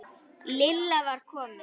Lilla var komin.